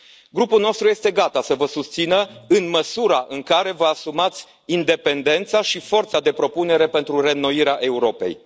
Grupul nostru este gata să vă susțină, în măsura în care vă asumați independența și forța de propunere pentru reînnoirea Europei.